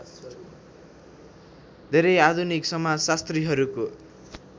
धेरै आधुनिक समाजशास्त्रीहरूको